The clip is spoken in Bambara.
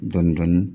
Dɔni dɔni